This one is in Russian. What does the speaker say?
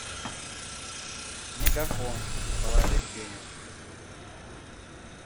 мегафон положить денег